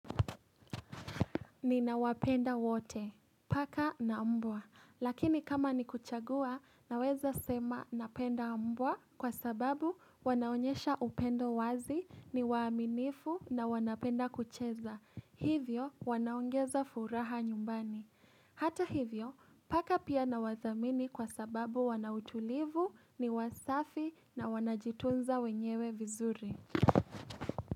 Ninawapenda wote, paka na mbwa. Lakini kama ni kuchagua, naweza sema napenda mbwa kwa sababu wanaonyesha upendo wazi ni waaminifu na wanapenda kucheza. Hivyo, wanaongeza furaha nyumbani. Hata hivyo, paka pia nawadhamini kwa sababu wanautulivu ni wasafi na wanajitunza wenyewe vizuri.